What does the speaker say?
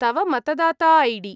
तव मतदाता I D.